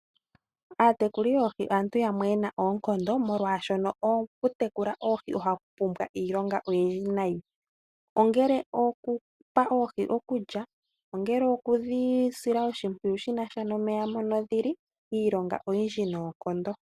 Aatekuli yoohi aantu yamwe ye na oonkondo, molwashoka okutekula oohi oku na iilonga oyindji noonkondo ngaashi okupa oohi okulya, okudhi sila oshimpwiyu shi na sha nomeya mono dhi li, iilonga oyindji noonkondo.